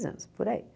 anos, por aí.